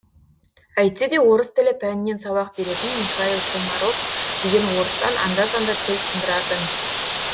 әйтсе де орыс тілі пәнінен сабақ беретін михаил комаров деген орыстан анда санда тіл сындыратын